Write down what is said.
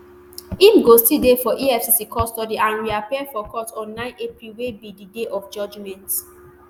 im go still dey for efcc custody and reappear for court on nine april wey be di day of judgement